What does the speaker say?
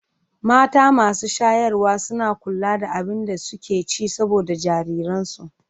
Mata masu shayarwa suna kula da abin da suke ci saboda jariransu.